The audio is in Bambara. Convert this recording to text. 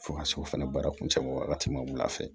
Fo ka se o fana baara kuncɛ ma wagati ma wula fɛ